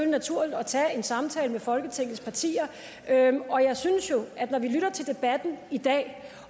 naturligt at tage en samtale med folketingets partier og jeg synes jo at når vi lytter til debatten i dag